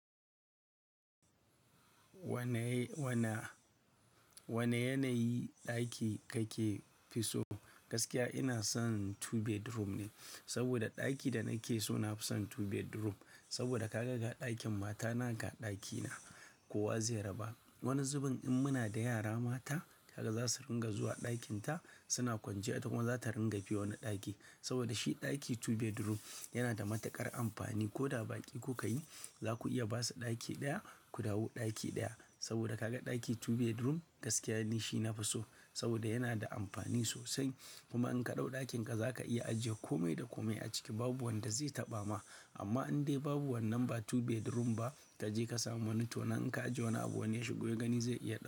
Wana, wane yanayi ɗaki kake fi so? Gaskiya ina son two bedroom ne, saboda ɗaki da nake so nafi son two bedroom. Saboda kaga ɗakin matana ga ɗakina, kowa zai raba. Wani zubin in muna da yara mata haka zasu ringa zuwa ɗakinta, suna kwanciya ita kuma za ta ringa biyoni ɗaki. Saboda shi ɗaki two bedroom yana da matuƙar amfani. Ko da baƙi ku kayi, za ku iya ba su ɗaki ɗaya ku dawo ɗaki ɗaya. Saboda ka ga ɗaki two bedroom gaskiya ni shi nafi so, saboda yana da amfani sosai. Kuma in ka dau ɗakinka za ka iya ajiye kome da kome a ciki babu wanda zai taɓa ma. Amma in dai babu wannan ba two bedroom ba kaje ka samu wani to nan in ka ajiye wani abu wane ya shigo ya gani zai iya ɗau.